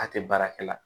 A tɛ baara kɛ la